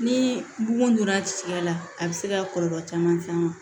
Ni bugun donna tigiya la a bi se ka kɔlɔlɔ caman s'an ma